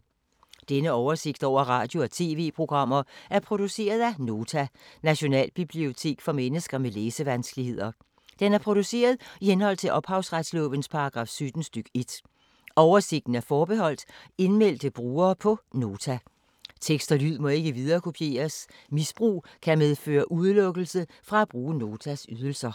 Denne oversigt over radio og TV-programmer er produceret af Nota, Nationalbibliotek for mennesker med læsevanskeligheder. Den er produceret i henhold til ophavsretslovens paragraf 17 stk. 1. Oversigten er forbeholdt indmeldte brugere på Nota. Tekst og lyd må ikke viderekopieres. Misbrug kan medføre udelukkelse fra at bruge Notas ydelser.